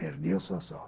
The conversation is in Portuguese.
Perdi a sua.